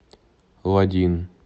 лодин